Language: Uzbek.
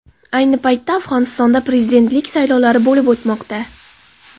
Ayni paytda Afg‘onistonda prezidentlik saylovlari bo‘lib o‘tmoqda.